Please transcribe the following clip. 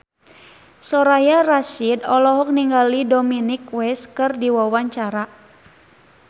Soraya Rasyid olohok ningali Dominic West keur diwawancara